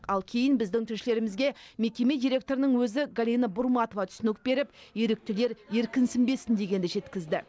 ал кейін біздің тілшілерімізге мекеме директорының өзі галина бурматова түсінік беріп еріктілер еркінсінбесін дегенді жеткізді